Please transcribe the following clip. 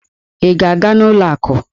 Ị ga-aga n'ụlọ akụ?